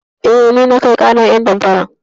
Eh, ni na kai ƙarar ƴan damfaran.